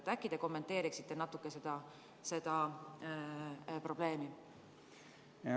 Äkki te kommenteeriksite natuke seda probleemi?